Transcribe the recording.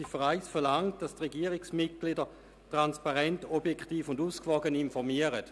Die Ziffer 1 verlangt, dass die Regierungsmitglieder transparent, objektiv und ausgewogen informieren.